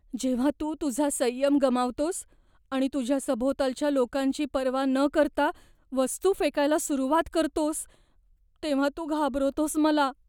जेव्हा तू तुझा संयम गमावतोस आणि तुझ्या सभोवतालच्या लोकांची पर्वा न करता वस्तू फेकायला सुरुवात करतोस तेव्हा तू घाबरवतोस मला.